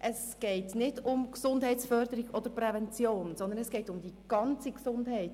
Es geht nicht um die Gesundheitsförderung oder um die Prävention, sondern es geht um die ganze Gesundheit.